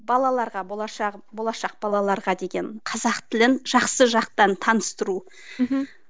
балаларға болашақ болашақ балаларға деген қазақ тілін жақсы жақтан таныстыру мхм